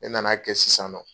E nana kɛ sisan nɔ